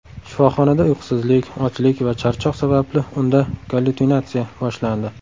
Shifoxonada uyqusizlik, ochlik va charchoq sababli unda gallyutsinatsiya boshlandi.